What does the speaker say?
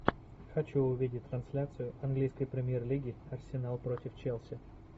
хочу увидеть трансляцию английской премьер лиги арсенал против челси